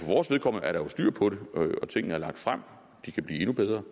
vores vedkommende er der jo styr på det og tingene er lagt frem de kan blive endnu bedre